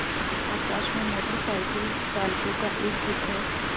आकाश में motorcycle चालकों का एक गुट है